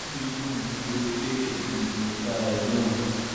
inú mi dùn nítorí pé èmi ni mo dá ẹ lóhùn